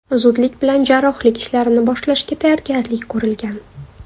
Zudlik bilan jarrohlik ishlarini boshlashga tayyorgarlik ko‘rilgan.